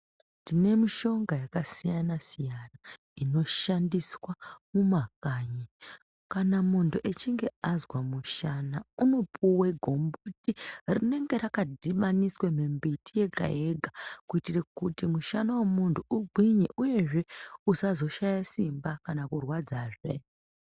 Tinemishonga yakasiyana siyana inoshandiswa mumakanyi kana muntu achinge azwa mushana anopuwa gumboti rinenga rakadhibaniswa mimbiti yega yega kuitira kuti mushana womunhu ugwinye uyezve usazoshaya simba kana kurwadza zvee.